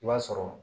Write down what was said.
I b'a sɔrɔ